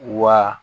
Wa